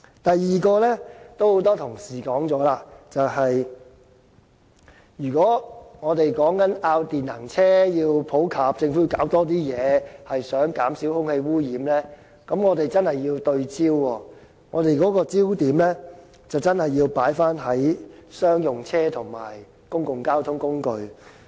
第二，有很多同事已說過，如果我們要電能車普及，政府便要做多些工作，而想減少空氣污染，我們便真的要對焦，而且焦點要放在商用車及公共交通工具上。